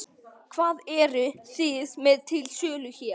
Hvað eruð þið með til sölu hér?